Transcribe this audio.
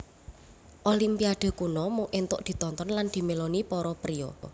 Olimpiade kuno mung entuk ditonton lan dimeloni para priya